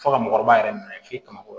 Fo ka mɔgɔkɔrɔba yɛrɛ minɛ f'i ka kɔrɔ